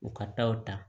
U ka taa o ta